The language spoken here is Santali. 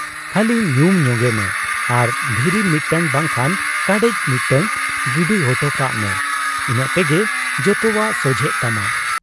ᱠᱷᱟᱹᱞᱤ ᱧᱩᱢ ᱧᱚᱜᱮᱢᱮ ᱟᱨ ᱫᱷᱤᱨᱤ ᱢᱤᱫᱴᱟᱹᱝ ᱵᱟᱝᱠᱷᱟᱱ ᱠᱟᱰᱮᱡ ᱢᱤᱫᱴᱟᱹᱝ ᱜᱤᱰᱤ ᱚᱴᱚ ᱠᱟᱜ ᱢᱮ, ᱤᱱᱟᱹᱜ ᱛᱮᱜᱮ ᱡᱚᱛᱚᱣᱟᱜ ᱥᱟᱡᱷᱮᱜ ᱛᱟᱢᱟ ᱾